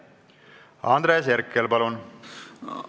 Andres Herkel, palun!